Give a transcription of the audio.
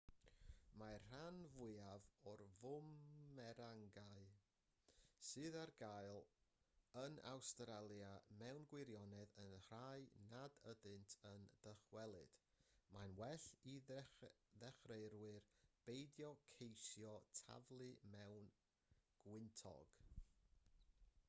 mae'r rhan fwyaf o fwmerangau sydd ar gael yn awstralia mewn gwirioned yn rhai nad ydynt yn dychwelyd mae'n well i ddechreuwyr beidio ceisio taflu mewn gwyntog